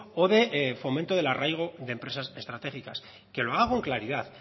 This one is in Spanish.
o de fomento del arraigo de empresas estratégicas que lo haga con claridad